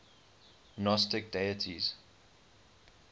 gnostic deities